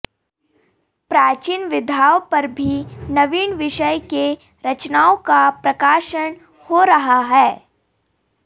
प्राचीन विधाओं पर भी नवीन विषय के रचनाओं का प्रकाशन हो रहा है